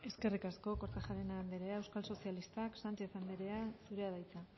eskerrik asko kortajarena andrea euskal sozialistak sánchez andrea zurea da hitza